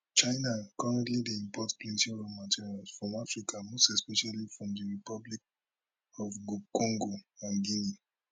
china currently dey import plenty raw materials from africa most especially from di republic of congo and guinea